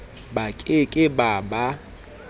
ba ke ke ba ba